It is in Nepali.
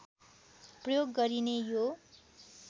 प्रयोग गरिने यो